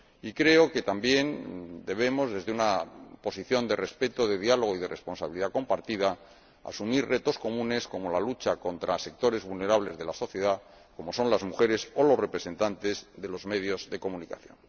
y creo que también debemos, desde una posición de respeto, de diálogo y de responsabilidad compartida, asumir retos comunes, como la lucha contra sectores vulnerables de la sociedad, como son las mujeres o los representantes de los medios de comunicación.